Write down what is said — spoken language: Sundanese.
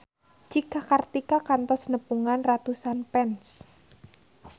Cika Kartika kantos nepungan ratusan fans